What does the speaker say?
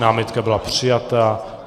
Námitka byla přijata.